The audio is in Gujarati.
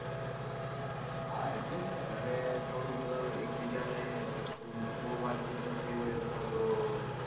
હા એટલે જ અને થોડુંક એક બીજાને બૌ વાતચીત ન થઇ હોય અથવા તો